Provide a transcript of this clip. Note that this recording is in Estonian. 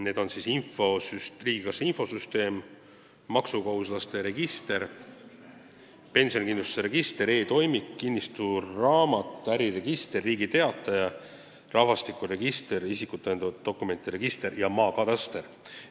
Need on riigikassa infosüsteem, maksukohustuslaste register, pensionikindlustuse register, e-toimik, kinnistusraamat, äriregister, Riigi Teataja, rahvastikuregister, isikut tõendavate dokumentide register ja maakataster.